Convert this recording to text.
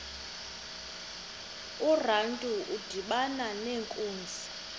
urantu udibana nenkunzi